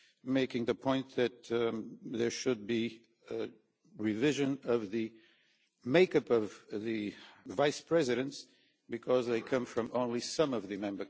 makes the point that there should be a revision of the make-up of the Vice-Presidents, because they come from only some of the Member States.